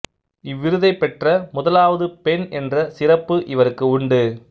இவ்விருதைப் பெற்ற முதலாவது பெண் என்ற சிறப்பு இவருக்கு உண்டு